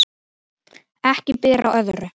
Ekki ber á öðru